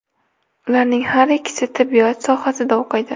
Ularning har ikkisi tibbiyot sohasida o‘qiydi.